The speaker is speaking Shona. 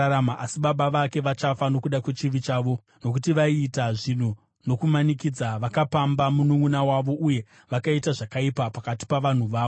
Asi baba vake vachafa nokuda kwechivi chavo, nokuti vaiita zvinhu nokumanikidza, vakapamba mununʼuna wavo uye vakaita zvakaipa pakati pavanhu vavo.